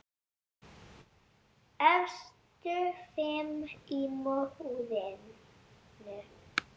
Efstu fimm í mótinu